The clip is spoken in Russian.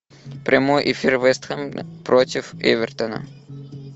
прямой эфир вест хэм против эвертона